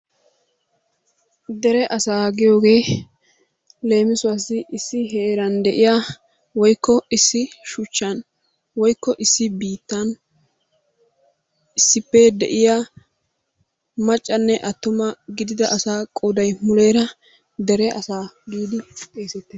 Dere asaa giyooge leemisuwassi issi heeran de'ya woykko issi shuchchan woykko issi biittan issippe de'iyaa maccanne attuma gidida asaa qooday muleera dere asa giidi xeesettees.